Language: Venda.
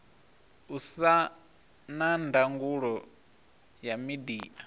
usa na ndangulo ya midia